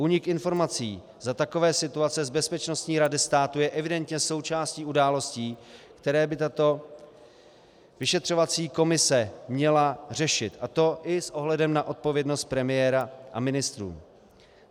Únik informací za takové situace z Bezpečnostní rady státu je evidentně součástí událostí, které by tato vyšetřovací komise měla řešit, a to i s ohledem na odpovědnost premiéra a ministrů.